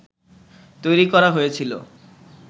তৈরি করা হয়েছিল